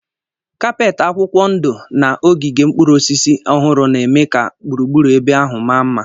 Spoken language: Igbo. Kapeeti akwụkwọ ndụ na ogige mkpụrụ osisi ọhụrụ na-eme ka gburugburu ebe ahụ mma mma.